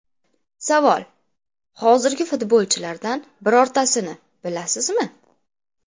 Savol: Hozirgi futbolchilardan birortasini bilasizmi?